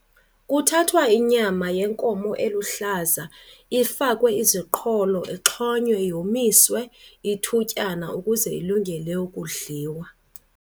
Kuthathwa inyama yenkomo eluhlaza ifakwe iziqholo, ixhonywe yomiswe ithutyana ukuze ilungele ukudliwa.